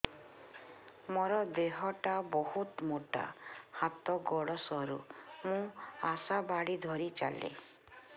ମୋର ଦେହ ଟା ବହୁତ ମୋଟା ହାତ ଗୋଡ଼ ସରୁ ମୁ ଆଶା ବାଡ଼ି ଧରି ଚାଲେ